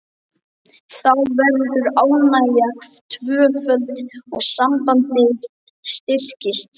Þá verður ánægjan tvöföld og sambandið styrkist.